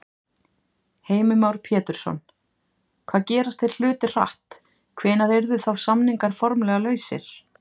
Heimir Már Pétursson: Hvað gerast þeir hlutir hratt, hvenær yrðu þá samningar formlega lausir?